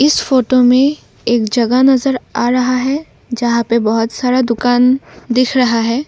इस फोटो में एक जगह नजर आ रहा है जहां पे बहुत सारा दुकान दिख रहा है।